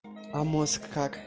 а мозг как